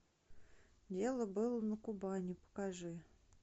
дело было на кубани покажи